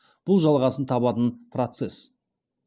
бұл жалғасын табатын процесс